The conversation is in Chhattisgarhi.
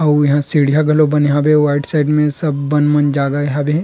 आऊ इहाँ सीढ़ियाँ बने-बने हावे आऊ राइट साइड में सब बन मन जागे हावे।